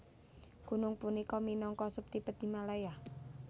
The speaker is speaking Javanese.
Gunung punika minangka sub Tibet Himalaya